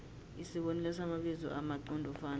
isibonelo samabizo amqondofana